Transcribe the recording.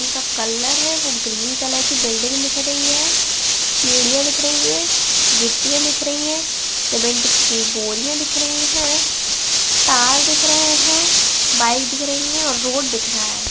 का कलर है वो ग्रीन कलर की बिल्डिंग दिख रही है। सीढ़ियाँ दिख रही हैं। गिट्टियां दिख रही हैं। सीमेंट की बोरियां दिख रही हैं। तार दिख रहे हैं। बाइक दिख रही है और रोड दिख रहा है।